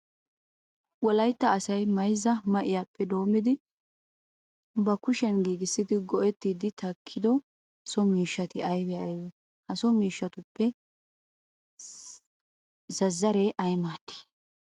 Wolaytta asay mayzza ma"iyappe doommidi ba kushiyan giigissidi go"ettiiddi takkido so miishshati aybee aybee? Ha so miishshatuppe zazzaree ay maaddii?